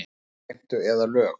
Skattheimtu eða lög.